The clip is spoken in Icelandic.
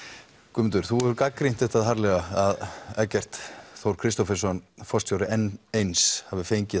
Guðmundur þú hefur gagnrýnt það harðlega að Eggert Þór Kristófersson forstjóri n eins hafi fengið